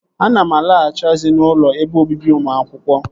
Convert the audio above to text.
Ana m alaghachi azụ n'ụlọ ebe obibi ụmụ akwụkwọ